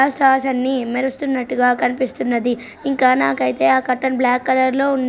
ఆ స్టార్స్ అన్ని మెరుస్తున్నట్టుగా కనిపిస్తున్నది. ఇంకా నాకైతే ఆ కర్టెన్ బ్లాక్ కలర్ లో ఉన్--